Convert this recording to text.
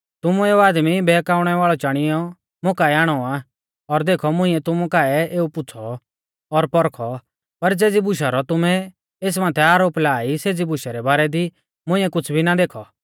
तुमुऐ एऊ आदमी बहकाऊणै वाल़ौ चाणियौ मुकाऐ आणौ आ और देखौ मुंइऐ तुमु काऐ एऊ पुछ़ौ और पौरखौ पर ज़ेज़ी बुशा रौ तुमै एस माथै आरोप ला ई सेज़ी बुशै रै बारै दी मुंइऐ कुछ़ भी ना देखौ